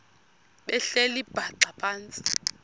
behleli bhaxa phantsi